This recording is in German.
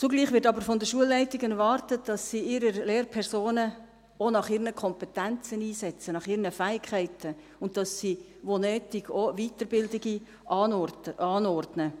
Zugleich wird aber von den Schulleitungen erwartet, dass sie ihre Lehrpersonen auch nach ihren Kompetenzen und Fähigkeiten einsetzen, und dass sie wo nötig auch Weiterbildungen anordnen.